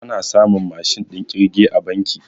A na samun Mashin ɗin kirge a banki